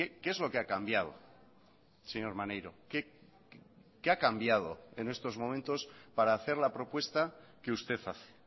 qué es lo que ha cambiado señor maneiro qué ha cambiado en estos momentos para hacer la propuesta que usted hace